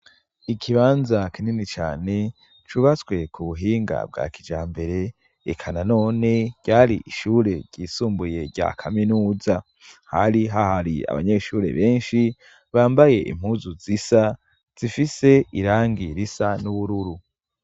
I,kibanza kinini cyane cubatswe ku buhinga bwa kijambere, eka na none ryari ishure ryisumbuye rya kaminuza. Hari ha hari abanyeshure benshi bambaye impuzu zisa zifise irangi risa n'ubururu.